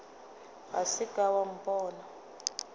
ga sa ka wa mpona